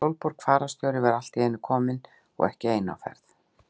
Sólborg fararstjóri var allt í einu komin og ekki ein á ferð.